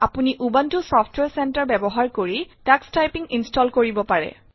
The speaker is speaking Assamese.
আপুনি উবুনটো ছফটৱাৰে চেন্টাৰে ব্যৱহাৰ কৰি টাক্স টাইপিং ইনষ্টল কৰিব পাৰে